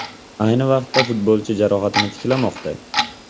Ayni vaqtda futbolchi jarohatini tiklamoqda.